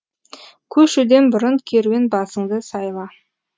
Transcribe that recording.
көшуден бұрын керуен басыңды сайла